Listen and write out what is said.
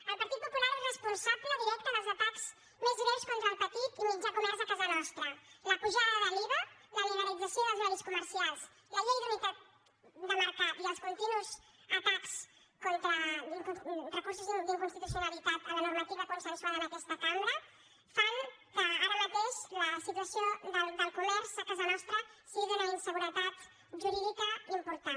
el partit popular és responsable directe dels atacs més greus contra el petit i mitjà comerç a casa nostra la pujada de l’iva la liberalització dels horaris comer·cials la llei d’unitat de mercat i els continus recur·sos d’inconstitucionalitat a la normativa consensuada en aquesta cambra fan que ara mateix la situació del comerç a casa nostra sigui d’una inseguretat jurídica important